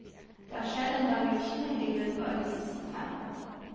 Det er skjedd en revolusjon i løpet av de siste fem år.